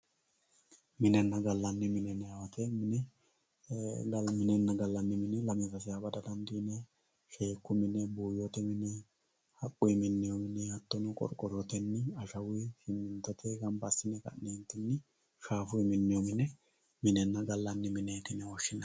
minenna gallanni mine yinanni woyiite mine lalu minenna gallanni mine yine lamewa bada dandiinay sheekku mine buuyyote mine